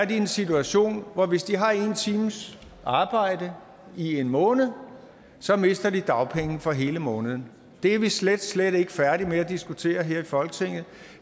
i en situation hvor de hvis de har en times arbejde i en måned så mister dagpenge for hele måneden det er vi slet slet ikke færdige med at diskutere her i folketinget